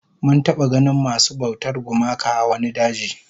Mun taba ganin masu bautar gumaka a wani daji